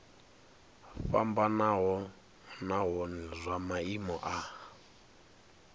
fhambanaho nahone zwa maimo a